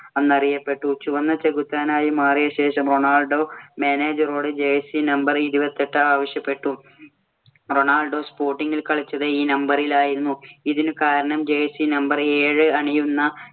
എന്ന് അറിയപ്പെട്ടു. ചുവന്ന ചെകുത്താനായി മാറിയ ശേഷം റൊണാൾഡോ manager ഓട് jersey number ഇരുപത്തെട്ട് ആവശ്യപ്പെട്ടു. റൊണാൾഡോ sporting ഇല്‍ കളിച്ചത് ഈ number ഇലായിരുന്നു. ഇതിനു കാരണം jersey number ഏഴ് അണിയുന്ന